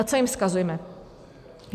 A co jim vzkazujeme?